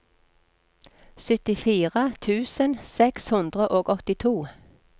syttifire tusen seks hundre og åttito